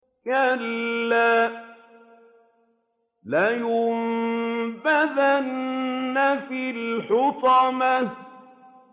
كَلَّا ۖ لَيُنبَذَنَّ فِي الْحُطَمَةِ